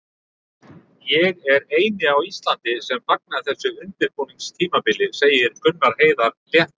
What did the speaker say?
Ég er eini á Íslandi sem fagna þessu undirbúningstímabili, segir Gunnar Heiðar léttur.